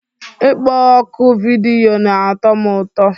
Ịkpọ oku vidiyo na-atọ m ụtọ